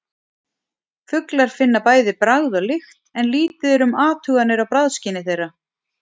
Fuglar finna bæði bragð og lykt en lítið er um athuganir á bragðskyni þeirra.